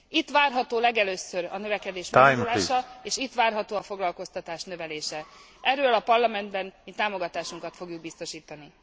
Itt várható legelőször a növekedés meglódulása és itt várható a foglalkoztatás növelése. Erről a Parlamentben mi támogatásunkról fogjuk biztosítani.